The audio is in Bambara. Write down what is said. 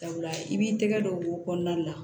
Sabula i b'i tɛgɛ dɔ k'o kɔnɔna la